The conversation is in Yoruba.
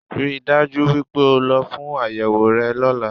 Ríi dájú wípé o lọ fún àyẹ̀wò rẹ lọ́lá